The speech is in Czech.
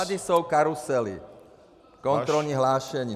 Tady jsou karusely, kontrolní hlášení.